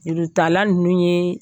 Jurutala ninnu ye